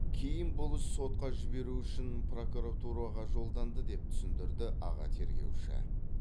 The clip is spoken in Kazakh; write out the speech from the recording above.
кейін бұл іс сотқа жіберу үшін прокуратураға жолданды деп түсіндірді аға тергеуші